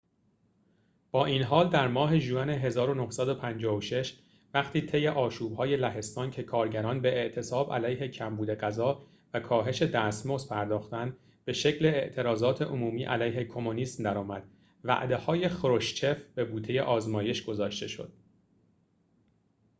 با این حال در ماه ژوئن ۱۹۵۶ وقتی طی آشوب‌های لهستان که کارگران به اعتصاب علیه کمبود غذا و کاهش دستمزد پرداختند به شکل اعتراضات عمومی علیه کمونیسم در آمد وعده‌های خروشچف به بوته آزمایش گذاشته شد